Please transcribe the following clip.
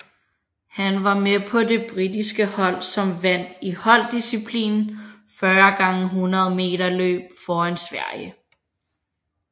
Han var med på det britiske hold som vandt i holddisciplinen 4 x 100 meterløb foran Sverige